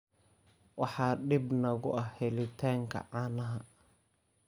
Waxaa dhib nagu ah helitaanka caanaha.